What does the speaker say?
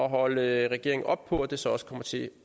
holde regeringen oppe på at det så også kommer til